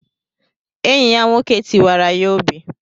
Anye ya nwoke tiwara ya obi.